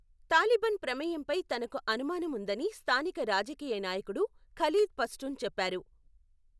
Taliban ప్రమేయంపై తనకు అనుమానం ఉందని స్థానిక రాజకీయ నాయకుడు ఖలీద్ పష్టున్ చెప్పారు.